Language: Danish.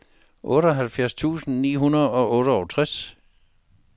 otteoghalvfems tusind ni hundrede og otteogtres